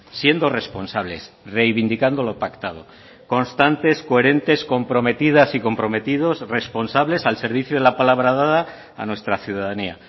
siendo responsables reivindicando lo pactado constantes coherentes comprometidas y comprometidos responsables al servicio de la palabra dada a nuestra ciudadanía